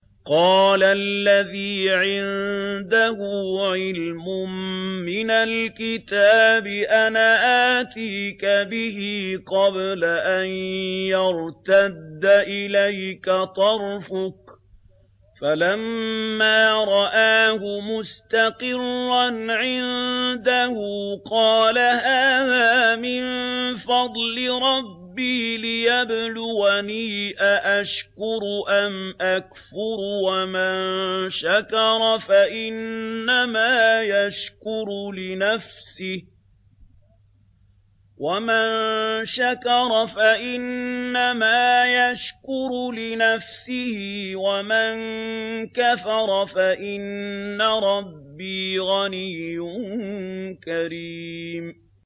قَالَ الَّذِي عِندَهُ عِلْمٌ مِّنَ الْكِتَابِ أَنَا آتِيكَ بِهِ قَبْلَ أَن يَرْتَدَّ إِلَيْكَ طَرْفُكَ ۚ فَلَمَّا رَآهُ مُسْتَقِرًّا عِندَهُ قَالَ هَٰذَا مِن فَضْلِ رَبِّي لِيَبْلُوَنِي أَأَشْكُرُ أَمْ أَكْفُرُ ۖ وَمَن شَكَرَ فَإِنَّمَا يَشْكُرُ لِنَفْسِهِ ۖ وَمَن كَفَرَ فَإِنَّ رَبِّي غَنِيٌّ كَرِيمٌ